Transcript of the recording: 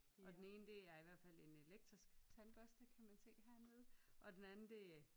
Og den ene det er i hvert fald en elektrisk tandbørste kan man se hernede og den anden det